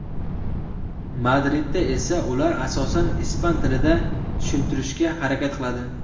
Madridda esa ular asosan ispan tilida tushuntirishga harakat qiladi.